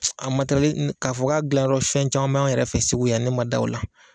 a matɛrɛli ni k'a fɔ k'a dilanyɔrɔ fɛn caman b'an yɛrɛ fɛ Segu yan ne ma da o la.